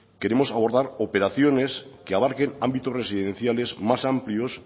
queremos abordar operaciones que abarquen ámbitos residenciales más amplios